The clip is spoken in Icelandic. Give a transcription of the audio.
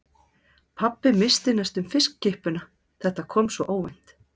Pabbi missti næstum fiskkippuna, þetta kom svo óvænt.